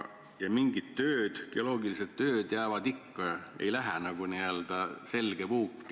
Ja mingid tööd, geoloogilised tööd jäävad ikka Keskkonnaministeeriumi alla, ei lähe üle.